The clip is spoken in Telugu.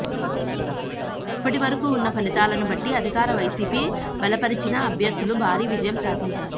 ఇప్పటి వరకు ఉన్న ఫలితాలను బట్టి అధికార వైసీపీ బలపరిచిన అభ్యర్థులు భారీ విజయం సాధించారు